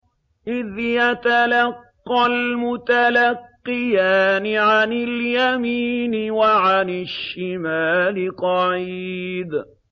إِذْ يَتَلَقَّى الْمُتَلَقِّيَانِ عَنِ الْيَمِينِ وَعَنِ الشِّمَالِ قَعِيدٌ